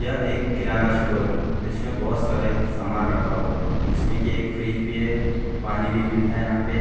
यह एक किराना स्टोर है जिसमें बहुत सारे सामान रखा हुआ है जिसमे की एक फ्रिज भी है पानी भी मिलता है यहाँ पे ।